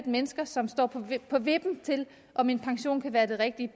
mennesker som står på vippen til om en pension kan være det rigtige